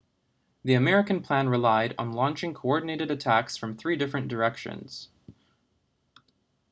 the american plan relied on launching coordinated attacks from three different directions